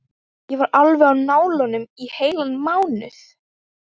Ég var alveg á nálum í heilan mánuð.